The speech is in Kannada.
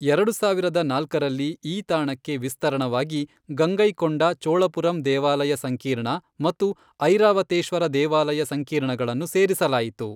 ಎರಡು ಸಾವಿರದ ನಾಲ್ಕರಲ್ಲಿ ಈ ತಾಣಕ್ಕೆ ವಿಸ್ತರಣವಾಗಿ ಗಂಗೈಕೊಂಡ ಚೋಳಪುರಂ ದೇವಾಲಯ ಸಂಕೀರ್ಣ ಮತ್ತು ಐರಾವತೇಶ್ವರ ದೇವಾಲಯ ಸಂಕೀರ್ಣಗಳನ್ನು ಸೇರಿಸಲಾಯಿತು.